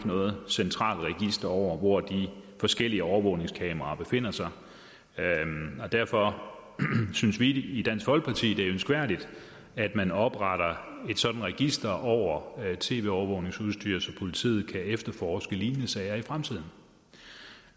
noget centralt register over hvor de forskellige overvågningskameraer befinder sig derfor synes vi i dansk folkeparti at det er ønskværdigt at man opretter et sådant register over tv overvågningsudstyr så politiet kan efterforske lignende sager i fremtiden